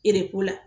Ereko la